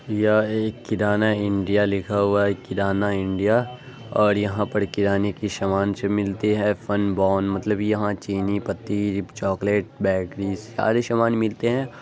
यह एक किराना इंडिया लिखा हुआ है किराना इंडिया और यहाँ पर किराने की समान सब मिलते है फन बोन मतलब यहाँ चीनी पत्ती चॉकलेट बैटरी सारे सामान मिलते हैं।